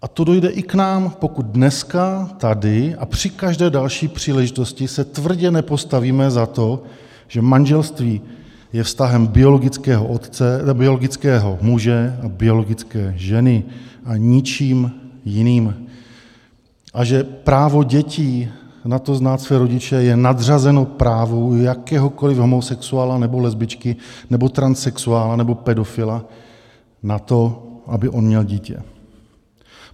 A to dojde i k nám, pokud dneska tady a při každé další příležitosti se tvrdě nepostavíme za to, že manželství je vztahem biologického muže a biologické ženy a ničím jiným a že právo dětí na to, znát své rodiče, je nadřazeno právu jakéhokoliv homosexuála nebo lesbičky nebo transsexuála nebo pedofila na to, aby on měl dítě.